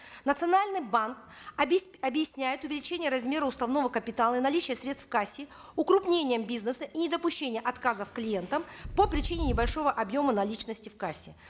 национальный банк объясняет увеличение размера уставного капитала наличие средств в кассе укрупнением бизнеса и недопущения отказов клиентам по причине небольшого объема наличности в кассе